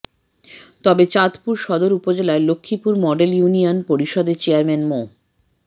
তবে চাঁদপুর সদর উপজেলার লক্ষ্মীপুর মডেল ইউনিয়ন পরিষদের চেয়ারম্যান মো